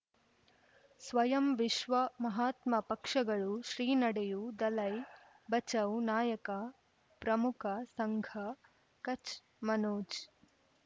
ಸ್ವಯಂ ವಿಶ್ವ ಮಹಾತ್ಮ ಪಕ್ಷಗಳು ಶ್ರೀ ನಡೆಯೂ ದಲೈ ಬಚೌ ನಾಯಕ ಪ್ರಮುಖ ಸಂಘ ಕಚ್ ಮನೋಜ್